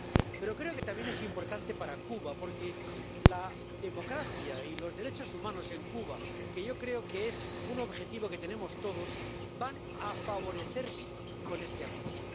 Pero creo que también es importante para Cuba porque la democracia y los derechos humanos en Cuba —que yo creo que es un objetivo que tenemos todos— van a favorecerse con este Acuerdo.